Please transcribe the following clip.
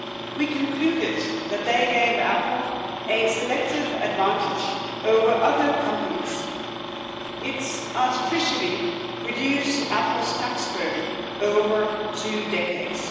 We concluded that they gave Apple a selective advantage over other companies, artificially reducing Apple's tax burden over two decades.